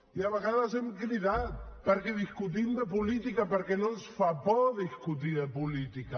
i a vegades hem cridat perquè discutim de política perquè no ens fa por discutir de política